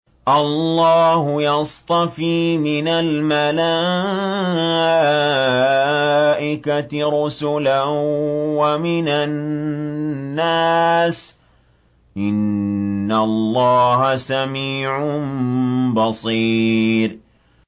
اللَّهُ يَصْطَفِي مِنَ الْمَلَائِكَةِ رُسُلًا وَمِنَ النَّاسِ ۚ إِنَّ اللَّهَ سَمِيعٌ بَصِيرٌ